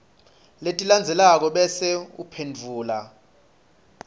letilandzelako bese uphendvula